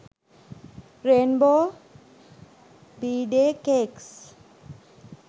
rainbow bday cakes